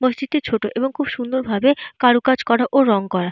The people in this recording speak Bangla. মসজিদটি ছোট এবং সুন্দর ভাবে কারুকাজ করা এবং রং করা।